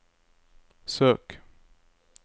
søk